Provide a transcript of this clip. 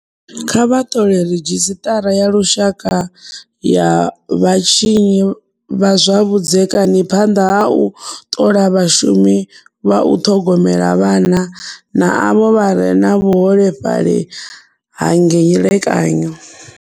Kha vha ṱole ridzhisiṱara ya Lushaka ya Vhatshinyi vha zwa Vhudzekani phanḓa ha u ṱola vhashumi vha u ṱhogomela vhana na avho vha re na vhuholefhali ha ngelekanyo.